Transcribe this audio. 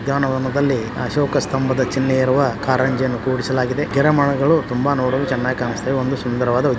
ಉದ್ಯಾನ ವನದಲ್ಲಿ ಅಶೋಕ ಸ್ತನೆಂಬ ಚಿನ್ನೇ ಇರುವ ಕಾರಂಜಿಯನ್ನು ಕೂರಿಸಲಾಗಿದೆ ಗಿಡಮರಗಳು ತುಂಬಾ ನೋಡಲು ಚೆನ್ನಾಗಿ ಕಾನಿಸ್ತಾಇವೆ ಒಂಧು ಸುಂದರವಾದ ಉದ್ಯಾನವನ.